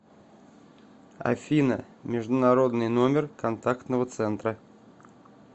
афина международный номер контактного центра